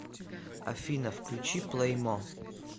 афина включи плеймо